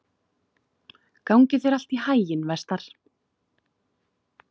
Gangi þér allt í haginn, Vestar.